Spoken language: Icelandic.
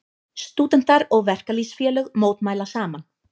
Stúdentar og verkalýðsfélög mótmæla saman